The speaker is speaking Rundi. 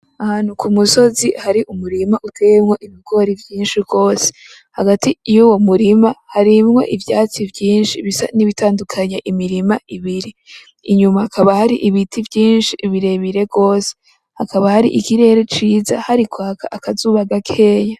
Ahantu kumusozi Hari umurima uteyemwo ibigori vyinshi gose. Hagati y'uwo murima harimwo ivyatsi vyinshi bisa nibitandukanya imirima ibiri inyuma, hakaba hari ibiti vyinshi birebire gose hakaba hari ikirere ciza harikwaka akazuba gakeya.